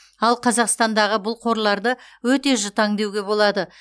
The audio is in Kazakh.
ал қазақстандағы бұл қорларды өте жұтаң деуге болады